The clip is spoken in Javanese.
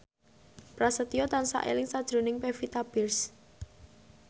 Prasetyo tansah eling sakjroning Pevita Pearce